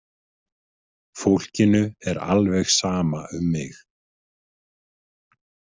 "Fólkinu er alveg sama um mig!"""